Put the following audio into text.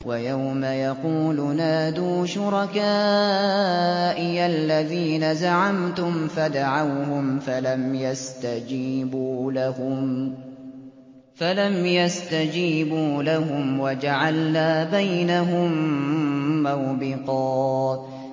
وَيَوْمَ يَقُولُ نَادُوا شُرَكَائِيَ الَّذِينَ زَعَمْتُمْ فَدَعَوْهُمْ فَلَمْ يَسْتَجِيبُوا لَهُمْ وَجَعَلْنَا بَيْنَهُم مَّوْبِقًا